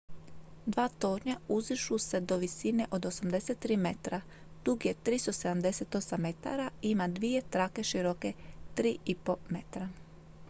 dva tornja uzdižu se do visine od 83 metra dug je 378 metara i ima dvije trake široke 3,50 m